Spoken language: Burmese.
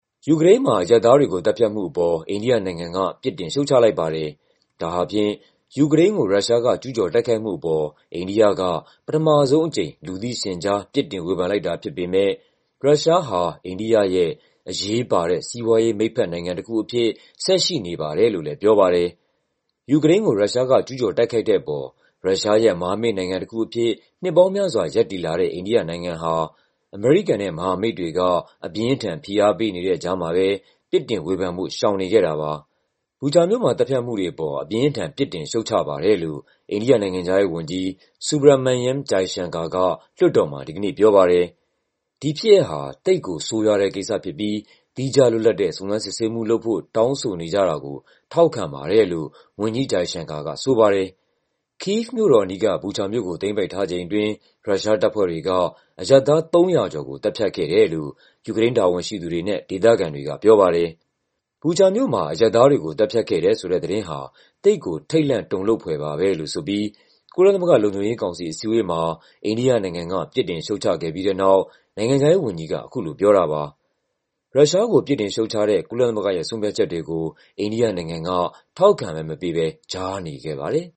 ယူကရိန်းမှာ အရပ်သားတွေကိုသတ်ဖြတ်မှုအပေါ် အိန္ဒိယနိုင်ငံက ပြစ်တင် ရှုတ်ချလိုက်ပါတယ်။ ဒါဟာဖြင့် ယူကရိန်းကို ရုရှားက ကျူးကျော်တိုက်ခိုက်မှုအပေါ် အိန္ဒိယက ပထမဆုံးအကြိမ် လူသိရှင်ကြား ပြစ်တင်ဝေဖန်လိုက်တာဖြစ်ပေမယ့် ရုရှားဟာ အိန္ဒိယရဲ့အရေးပါတဲ့ စီးပွားရေးမိတ်ဘက်နိုင်ငံတခုအဖြစ် ဆက်ရှိနေပါတယ်လို့လည်း ပြောပါတယ်။ ယူကရိန်းကို ရုရှားကကျူးကျော်တိုက်ခိုက်တဲ့အပေါ် ရုရှားရဲ့မဟာမိတ်နိုင်ငံတခုအဖြစ် နှစ်ပေါင်းများစွာ ရပ်တည်လာတဲ့ အိန္ဒိနိုင်ငံဟာ အမေရိကန်နဲ့ မဟာမိတ်တွေက အပြင်းအထန် ဖိအားပေးနေတဲ့ကြားမှာပဲ ပြစ်တင်ဝေဖန်ဖို့ ရှောင်နေခဲ့တာပါ။ “Bucha မြို့မှာ သတ်ဖြတ်မှုတွေအပေါ် အပြင်းအထန် ပြစ်တင်ရှုတ်ချပါတယ်” လို့ အိန္ဒိယနိုင်ငံခြားရေးဝန်ကြီး Subramanyam Jaishankar က လွှတ်တော်မှာ ဒီကနေ့ပြောပါတယ်။ “ဒီဖြစ်ရပ်ဟာ သိပ်ကိုဆိုးရွားတဲ့ကိစ္စဖြစ်ပြီး သီးခြားလွတ်လပ်တဲ့ စုံစမ်း စစ်ဆေးမှုလုပ်ဖို့ တောင်းဆိုနေကြတာကို ထောက်ခံပါတယ်” လို့ ဝန်ကြီး Jaishankar ကဆိုပါတယ်။ ကိဗ်မြို့တော်အနီးက Bucha မြို့ကို သိမ်းပိုက်ထားချိန်အတွင်း ရုရှားတပ်ဖွဲ့တွေက အရပ်သား ၃၀၀ ကျော်ကို သတ်ဖြတ်ခဲ့တယ်လို့ ယူကရိန်းတာဝန်ရှိသူတွေနဲ့ ဒေသခံတွေကပြောပါတယ်။ Bucha မြို့မှာ အရပ်သားတွေကို သတ်ဖြတ်ခဲ့တယ်ဆိုတဲ့သတင်းဟာ “သိပ်ကို ထိတ်လန့်တုန်လှုပ်” ဖွယ်ပါပဲလို့ဆိုပြီး ကုလသမဂ္ဂ လုံခြုံရေးကောင်စီ အစည်းအဝေးမှာ အိန္ဒိယနိုင်ငံက ပြစ်တင်ရှုတ်ချခဲ့ပြီးတဲ့နောက် နိုင်ငံခြားရေးဝန်ကြီးက အခုလိုပြောတာပါ။ ရုရှားကို ပြစ်တင်ရှုတ်ချတဲ့ ကုလသမဂ္ဂရဲ့ ဆုံးဖြတ်ချက်တွေကို အိန္ဒိယနိုင်ငံက ထောက်ခံမဲမပေးဘဲ ကြားနေခဲ့ပါတယ်။